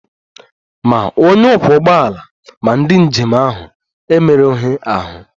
Ma onye ọkwọ ụgbọala ma ndị njem ahụ emerụghị ahụ